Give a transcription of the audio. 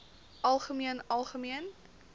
algemeen algemeen